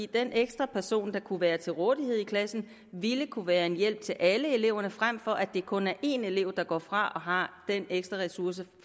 den ekstra person der kunne være til rådighed i klassen ville kunne være en hjælp til alle eleverne frem for at det kun er én elev der går fra og har den ekstra ressource